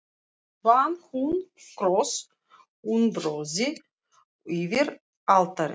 Vann hún kross úr bronsi yfir altarið.